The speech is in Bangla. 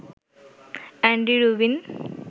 Andy Rubin